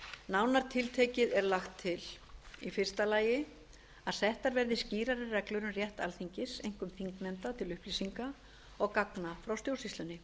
nánar tiltekið er lagt til fyrstu að settar verði skýrari reglur um rétt alþingis einkum þingnefnda til upplýsinga og gagna frá stjórnsýslunni